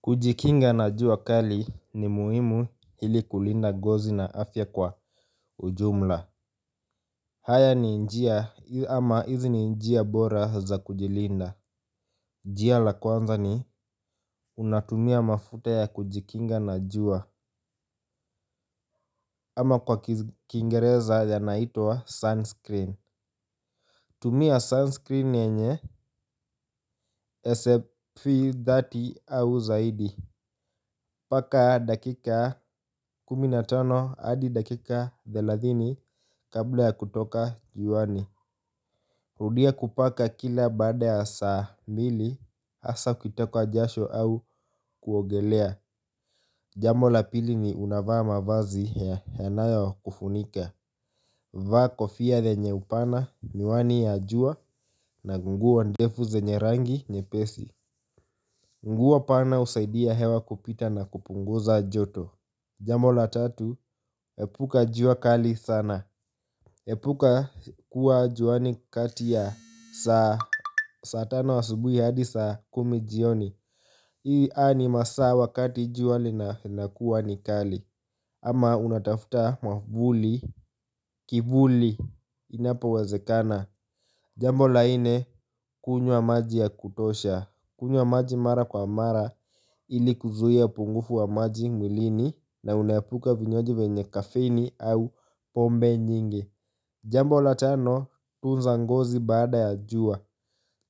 Kujikinga na jua kali ni muhimu ili kulinda ngozi na afya kwa ujumla. Haya ni njia ama hizi ni njia bora za kujilinda. Njia la kwanza ni unatumia mafuta ya kujikinga na jua. Ama kwa kingereza yanaitwa sunscreen. Tumia sunscreen yenye SF30 au zaidi. Paka dakika kumi na tano hadi dakika thelathini kabla ya kutoka juani. Rudia kupaka kila baada ya saa mbili hasa ukitokwa jasho au kuogelea. Jambo la pili ni unavaa mavazi yanayo kufunika. Vaa kofia yenye upana, miwani ya jua na nguo ndefu zenye rangi nyepesi. Nguo pana husaidia hewa kupita na kupunguza joto. Jambo la tatu, hepuka jua kali sana. Hepuka kuwa juani kati ya saa tano asubuhi hadi saa kumi jioni. Hii a ni masaa wakati jua linakuwa ni kali. Ama unatafuta mwavuli, kivuli, inapowezekana. Jambo la ine, kunywa maji ya kutosha. Kunywa maji mara kwa mara ili kuzuia pungufu wa maji mwilini. Na unaepuka vinywaji vyenye kafeini au pombe nyingi. Jambo la tano tunza ngozi bada ya jua.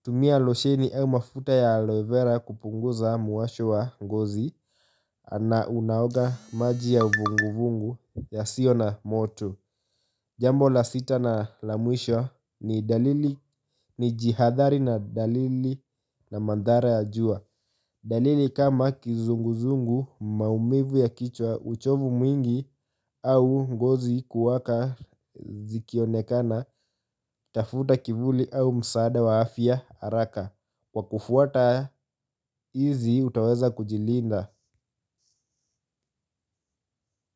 Tumia losheni au mafuta ya aloe vera kupunguza muwasho wa ngozi. Ana unaoga maji ya vunguvungu yasiyo na moto. Jambo la sita na la mwisho ni dalili. Ni jihadhari na dalili na mandhara ya jua. Dalili kama kizunguzungu maumivu ya kichwa uchovu mwingi au ngozi kuwaka zikionekana. Tafuta kivuli au msaada wa afya haraka. Kwa kufuata hizi utaweza kujilinda.